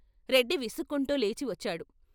రెడ్డి విసుక్కుంటూ లేచి వచ్చాడు.